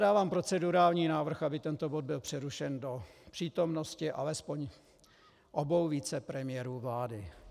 Dávám procedurální návrh, aby tento bod byl přerušen do přítomnosti alespoň obou vicepremiérů vlády.